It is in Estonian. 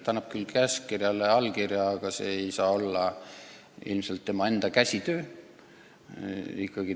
Ta annab küll käskkirjale allkirja, aga see ei saa olla üksi tema enda mõttetöö vili.